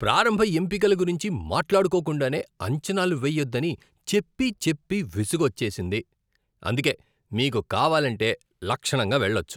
ప్రారంభ ఎంపికల గురించి మాట్లాడుకోకుండానే అంచనాలు వెయ్యొద్దని చెప్పి చెప్పి విసుగోచ్చేసింది, అందుకే మీకు కావాలంటే లక్షణంగా వెళ్లొచ్చు.